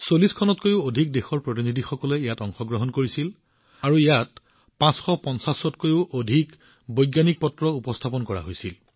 ৪০খনতকৈও অধিক দেশৰ প্ৰতিনিধিসকলে ইয়াত অংশগ্ৰহণ কৰিছিল আৰু ইয়াত ৫৫০ত কৈও অধিক বৈজ্ঞানিক কাকত উপস্থাপন কৰা হৈছিল